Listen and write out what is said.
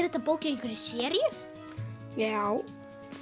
þetta bók í einhverri seríu já